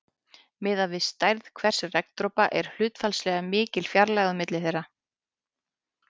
Miðað við stærð hvers regndropa er hlutfallslega mikil fjarlægð á milli þeirra.